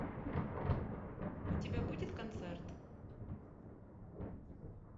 у тебя будет концерт